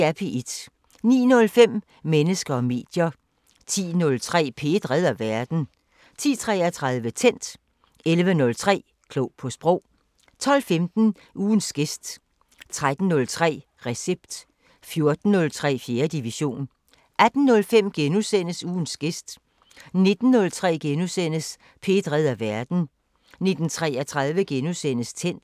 09:05: Mennesker og medier 10:03: P1 redder verden 10:33: Tændt 11:03: Klog på Sprog 12:15: Ugens gæst 13:03: Recept 14:03: 4. division 18:05: Ugens gæst * 19:03: P1 redder verden * 19:33: Tændt *